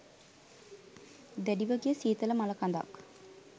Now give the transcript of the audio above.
දැඩිව ගිය සීතල මළකඳක්.